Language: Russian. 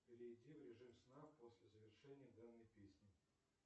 перейди в режим сна после завершения данной песни